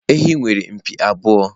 Ehi nwere mpi abụọ.